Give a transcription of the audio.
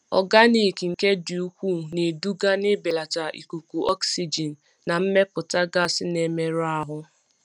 Ọganiki nke dị ukwuu na-eduga n'ibelata ikuku oxygen na mmepụta gas na-emerụ ahụ.